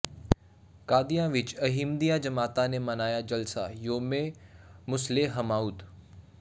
ਕਾਦੀਆਂ ਵਿੱਚ ਅਹਿਮਦੀਆ ਜਮਾਤ ਨੇ ਮਨਾਇਆ ਜਲਸਾ ਯੋਮੇ ਮੁਸਲੇਹਮਾਊਦ